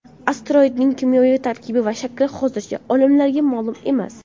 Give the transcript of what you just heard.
Asteroidning kimyoviy tarkibi va shakli hozircha olimlarga ma’lum emas.